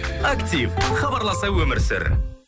актив хабарласа өмір сүр